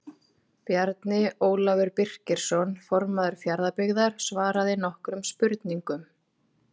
Bjarni Ólafur Birkisson formaður Fjarðabyggðar svaraði nokkrum spurningum.